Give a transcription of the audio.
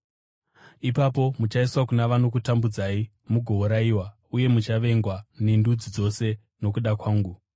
“Ipapo muchaiswa kuna vanokutambudzai mugourayiwa, uye muchavengwa nendudzi dzose nokuda kwangu.